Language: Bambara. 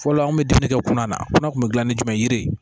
Fɔlɔ an kun bɛ dumuni kɛ kunna nakunna kun bɛ gilan ni jumɛn ye yiri